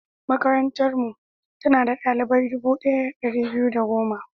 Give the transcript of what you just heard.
Makarantarmu, tana da ɗalibai dubu ɗaya da ɗari biyu da goma.